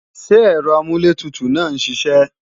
Ṣé ẹ̀rọ amúlẹ̀tutù náà ń siṣẹ́